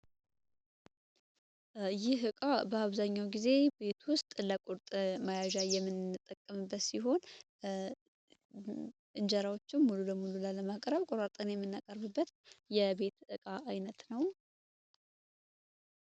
ይህ ሕቃ በአብዛኛው ጊዜ ቤት ውስጥ ለቁርጥ መያዣ የምንጠቅምበት ሲሆን እንጀራዎችም ሙሉ ለሙሉ ላ ለማቅረብ ቁራጠን የሚናቀርብበት የቤት ሕቃ ዓይነት ነው